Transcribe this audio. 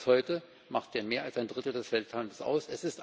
Bereits heute macht er mehr als ein Drittel des Welthandels aus.